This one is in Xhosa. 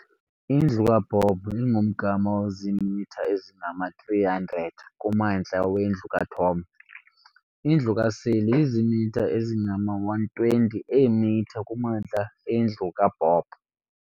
Indlu kaBob ingumgama oziimitha ezingama- 300 kumantla wendlu kaTom. indlu kaSally izimitha ezingama-120 eemitha kumantla endlu kaBob.